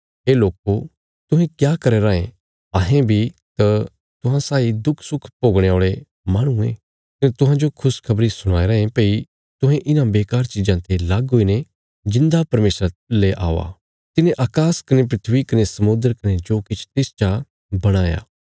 हे लोको तुहें क्या करया रायें अहें बी तां तुहां साई दुखसुख भोगणे औल़े माहणु ये कने तुहांजो खुशखबरी सुणाया रायें भई तुहें इन्हां बेकार चिज़ां ते लग्ग हुईने जिऊंदा परमेशरा ले औआ तिने अकाश कने धरती कने समुद्र कने जो किछ तिसच आ बणाया